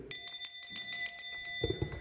december